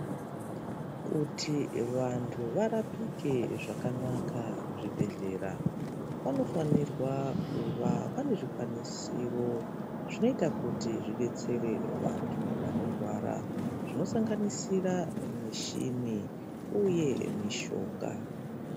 Kuti vantu varapike zvakanaka muzvibhedhlera vanofanirwa kuva pane zvikwaniwiro zvinoita kuti zvidetsere vantu vanorwara zvinosanganisira mushini uye mushonga.